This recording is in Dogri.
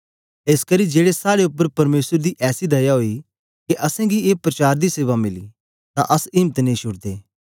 एसकरी जेलै साड़े उपर परमेसर दी ऐसी दया ओई के असेंगी ए प्रचार दी सेवा मिली तां अस इम्त नेई छुडदे